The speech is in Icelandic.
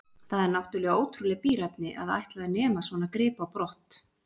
Það er náttúrlega ótrúleg bíræfni að ætla að nema svona grip á brott.